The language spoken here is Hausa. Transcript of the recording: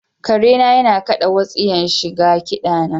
Kare na yana kaɗa wutsiyan shi ga kida na.